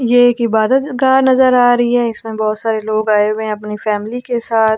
ये एक इबादत गाह नजर आ रही है इसमें बहोत सारे लोग आए हुए अपनी फैमिली के साथ--